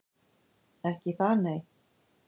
Ekki það, nei?